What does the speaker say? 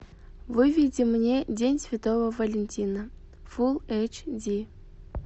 выведи мне день святого валентина фул эйч ди